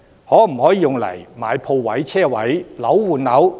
可否用以購買鋪位、車位？